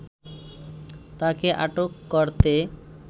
তাকে আটক করতে